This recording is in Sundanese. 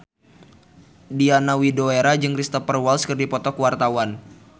Diana Widoera jeung Cristhoper Waltz keur dipoto ku wartawan